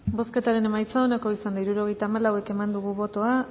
bozketaren emaitza onako izan da hirurogeita hamalau eman dugu bozka